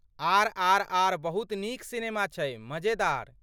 RRR. बहुत नीक cinema छै, मजेदार।